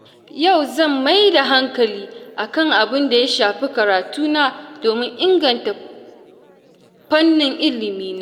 Yau zan maida hankali, akan abinda ya shafi karatu na domin inganta fannin ilimi na.